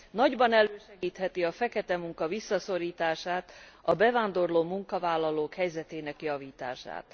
nagyban elősegítheti a feketemunka visszaszorítását és a bevándorló munkavállalók helyzetének javítását.